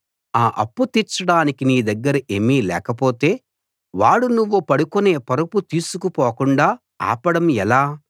ఆ అప్పు తీర్చడానికి నీ దగ్గర ఏమీ లేకపోతే వాడు నువ్వు పడుకునే పరుపు తీసుకు పోకుండా ఆపడం ఎలా